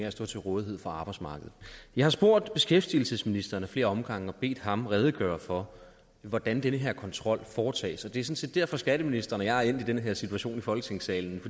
at stå til rådighed for arbejdsmarkedet jeg har spurgt beskæftigelsesministeren ad flere omgange og bedt ham redegøre for hvordan den her kontrol foretages og det set derfor skatteministeren og jeg er endt i den her situation i folketingssalen